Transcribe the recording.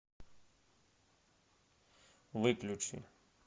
выключи